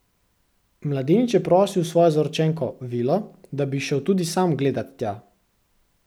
Mladenič je prosil svojo zaročenko, vilo, da bi šel tudi sam gledat tja.